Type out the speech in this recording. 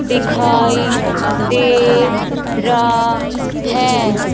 दिखाई दे रा है।